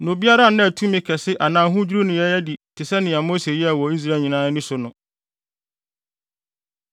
Na obiara nnaa tumi kɛse anaa ahodwiriw nneyɛe adi te sɛnea Mose yɛɛ wɔ Israel nyinaa ani so no.